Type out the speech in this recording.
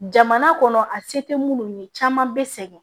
Jamana kɔnɔ a se tɛ minnu ye caman bɛ sɛgɛn